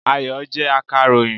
Ayọ̀ jẹ́ akàròyìn